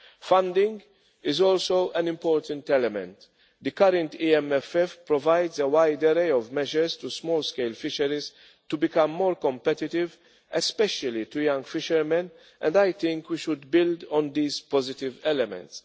Funding is also an important element. The current EMFF provides a wide array of measures to small scale fisheries to become more competitive especially to young fishermen and I think we should build on these positive elements.